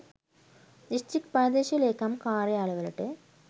district ප්‍රාදේශීය ලේකම් කාර්යාල වලට